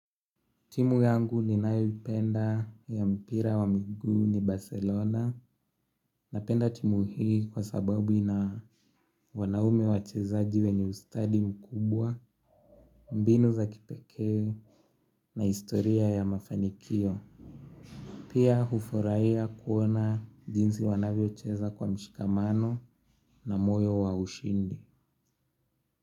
Timu yangu ninayoipenda ya mpira wa miguu ni Barcelona napenda timu hii kwa sababu ina wanaume wachezaji wenye ustadi mkubwa, mbinu za kipekee na historia ya mafanikio. Pia hufurahia kuona jinsi wanavyocheza kwa mshikamano na moyo wa ushindi.